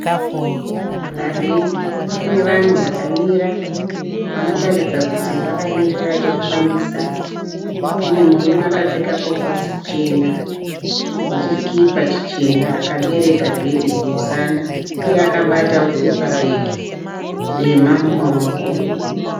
Parengi pane vanhu vakamira vanotaridza kuti vakamirira chokufambisa. Pane murume akapfeka koposi chena ne chikipa chichena akabereka bhegi kumusana iye akabatao pepabhegi dema mumaoko.